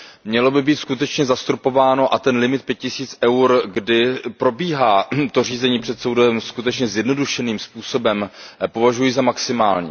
Mělo by být skutečně zastropováno a ten limit pět tisíc EUR, kdy probíhá řízení před soudem skutečně zjednodušeným způsobem, považuji za maximální.